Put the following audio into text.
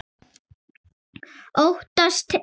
Óttast ei.